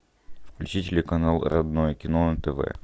включи телеканал родное кино на тв